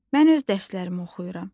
Mən öz dərslərimi oxuyuram.